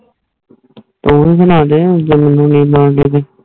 ਤੋਰੁ ਬਣਾ ਜੇ ਮੰਦੁ ਨਾਈ ਬੰਦੇ ਤੇ